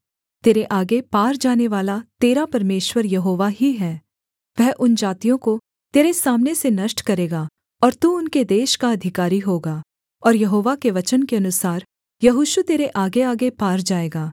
तेरे आगे पार जानेवाला तेरा परमेश्वर यहोवा ही है वह उन जातियों को तेरे सामने से नष्ट करेगा और तू उनके देश का अधिकारी होगा और यहोवा के वचन के अनुसार यहोशू तेरे आगेआगे पार जाएगा